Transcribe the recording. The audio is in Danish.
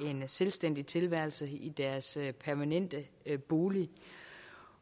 en selvstændig tilværelse i deres permanente bolig